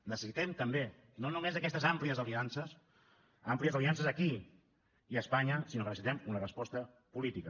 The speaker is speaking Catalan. necessitem també no només aquestes àmplies aliances àmplies aliances aquí i a espanya sinó que necessitem una resposta política